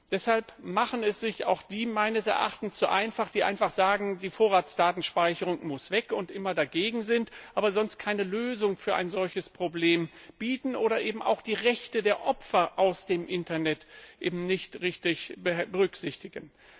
Deshalb machen es sich auch diejenigen zu einfach, die sagen, die Vorratsdatenspeicherung muss weg, und die immer dagegen sind, aber keine Lösung für dieses Problem bieten oder eben auch die Rechte der Opfer aus dem Internet nicht richtig berücksichtigen.